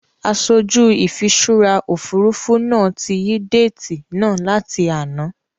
Aṣojú ìfiṣúra Òfurufú náà tí yí déètì náà láti àná.